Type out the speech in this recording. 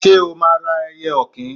Ṣé o máa ra ẹyẹ ọ̀kín?